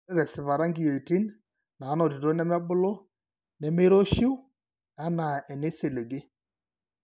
Ore tesipata inkiyiotin naanotito nemebulu nemeiroshiu anaa eneisiligi.